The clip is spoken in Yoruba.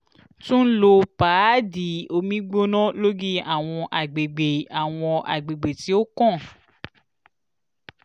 tun lo paadi omi gbona lori awọn agbegbe awọn agbegbe ti o kan